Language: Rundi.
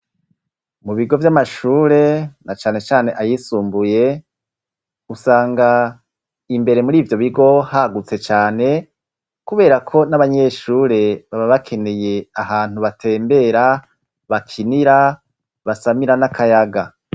Mu bigo vy'amashure na cane cane ayisumbuye, usanga imbere muri ivyo bigo hagutse cane kubera ko n'abanyeshure baba bakeneye ahantu batembera, bakinira, basamira n'akayaga.